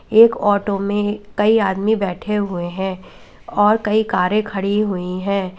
एक ऑटो में कई आदमी बैठे हुए हैं और कई कारे खड़ी हुई हैं।